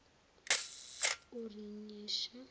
urinyesha